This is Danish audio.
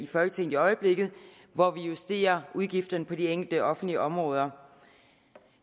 folketinget i øjeblikket hvor vi justerer udgifterne på de enkelte offentlige områder